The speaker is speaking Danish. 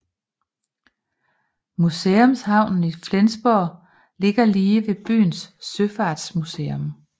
Museumshavnen i Flensborg ligger lige ved byens søfartsmuseum